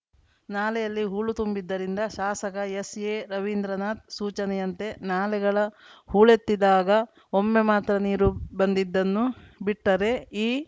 ನಾಲೆಯಲ್ಲಿ ಹೂಳು ತುಂಬಿದ್ದರಿಂದ ಶಾಸಕ ಎಸ್‌ಎರವೀಂದ್ರನಾಥ್‌ ಸೂಚನೆಯಂತೆ ನಾಲೆಗಳ ಹೂಳೆತ್ತಿದ್ದಾಗ ಒಮ್ಮೆ ಮಾತ್ರ ನೀರು ಬಂದಿದ್ದನ್ನು ಬಿಟ್ಟರೆ ಈ